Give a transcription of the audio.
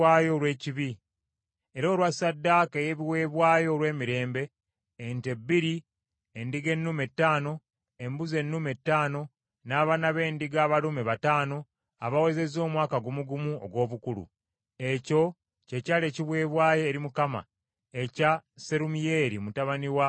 era olwa ssaddaaka ey’ebiweebwayo olw’emirembe: ente bbiri, endiga ennume ttaano, embuzi ennume ttaano, n’abaana b’endiga abalume bataano abawezezza omwaka gumu gumu ogw’obukulu. Ekyo kye kyali ekiweebwayo eri Mukama ekya Serumiyeeri mutabani wa Zulisadaayi.